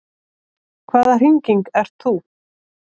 Hvaða hringing ert þú?